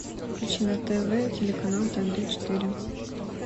включи на тв телеканал тнт четыре